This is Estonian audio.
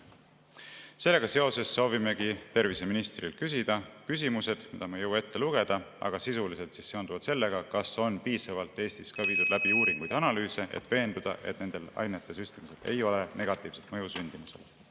Sellega seoses soovimegi terviseministrilt küsida küsimused, mida ma ei jõua ette lugeda, aga sisuliselt seonduvalt sellega, kas on piisavalt Eestis viidud läbi uuringuid ja analüüse, et veenduda, et nende ainete süstimisel ei ole negatiivset mõju sündimusele.